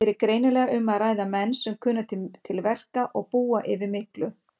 Hér er greinilega um að ræða menn sem kunna til verka og búa yfir miklu.